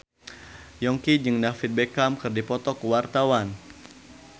Yongki jeung David Beckham keur dipoto ku wartawan